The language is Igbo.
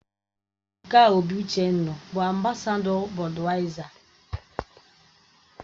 Ebuka obi-Uchendu bụ ambasadọ Bọduyaiza